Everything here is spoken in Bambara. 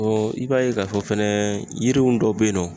i b'a ye k'a fɔ fɛnɛ yiriw dɔw bɛ yen nɔ